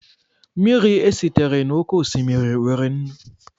Mmiri esitere n'oké osimiri nwere nnu